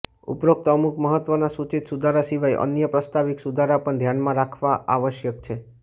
ઉપરોક્ત અમુક મહત્ત્વના સૂચિત સુધારા સિવાય અન્ય પ્રસ્તાવિક સુધારા પણ ધ્યાનમાં રખવા આવશ્યક છે